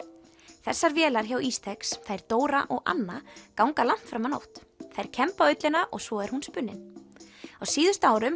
þessar vélar hjá Ístex þær Dóra og Anna ganga langt fram á nótt þær kemba ullina og svo er hún spunnin á síðustu árum